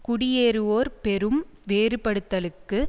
குடியேறுவோர் பெரும் வேறுபடுத்தலுக்கு